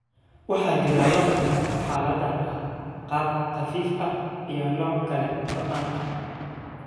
Waxaa jira laba nooc oo xaaladdan ah, qaab khafiif ah iyo nooc kala goyn ah.